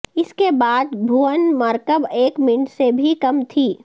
اس کے بعد بھون مرکب ایک منٹ سے بھی کم تھی